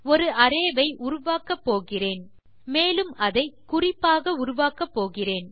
ஒரு அரே ஐ உருவாக்கப்போகிறேன் மேலும் அதை குறிப்பாக உருவாக்கப்போகிறேன்